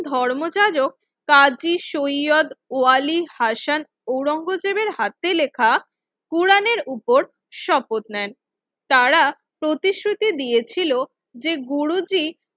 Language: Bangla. ধর্মযাজক কাজী সৈয়দ ওয়ালী ভাসান আওরঙ্গজেবের হাতে লেখা কোরআনের উপর শপথ নেন তারা প্রতিশ্রুতি দিয়েছিল যে গুরুজি